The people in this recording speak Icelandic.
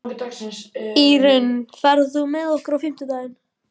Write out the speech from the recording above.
Írunn, ferð þú með okkur á fimmtudaginn?